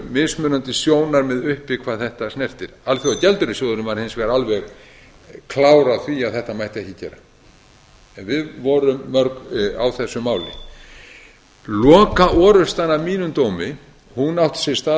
mismunandi sjónarmið uppi hvað þetta snertir alþjóðagjaldeyrissjóðurinn var hins vegar alveg klár á því að þetta mætti ekki gera en við vorum mörg á þessu máli lokaorrustan að mínum dómi átti sér stað